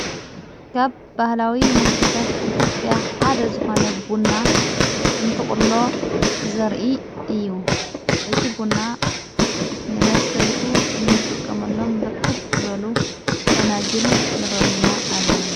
ካብ ባህላዊ መስተታት ኢትጲያ ሓደ ዝኾ ነቡና እንትቕሎ ዘርኢ እዩ እቲ ቡና ንመስተይኡ እንጥቀመሎም ብርክት በሉ ፈናጅል ይረእዩና ኣለዉ።